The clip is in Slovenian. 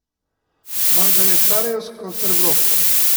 Vam ga je sarajevsko srebro.